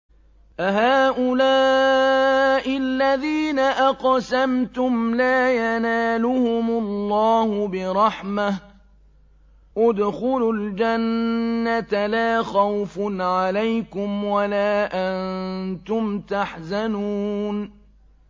أَهَٰؤُلَاءِ الَّذِينَ أَقْسَمْتُمْ لَا يَنَالُهُمُ اللَّهُ بِرَحْمَةٍ ۚ ادْخُلُوا الْجَنَّةَ لَا خَوْفٌ عَلَيْكُمْ وَلَا أَنتُمْ تَحْزَنُونَ